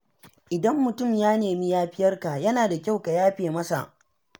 Idan mutum ya nemi yafiyarka, yana da kyau ka yafe masa.